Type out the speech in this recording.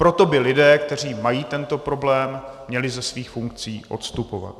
Proto by lidé, kteří mají tento problém, měli ze svých funkcí odstupovat.